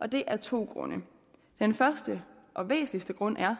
og det er af to grunde den første og væsentligste grund er